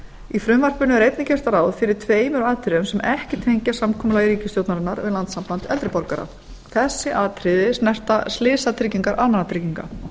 í frumvarpinu er einnig gert ráð fyrir tveimur atriðum sem ekki tengjast samkomulagi ríkisstjórnarinnar um landssamband eldri borgara þessi atriði snerta slysatryggingar almannatrygginga